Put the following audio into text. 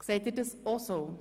Sehen Sie es auch so?